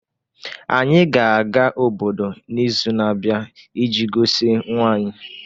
Anyị ga-aga obodo n’izu na-abịa iji gosi nwa anyị.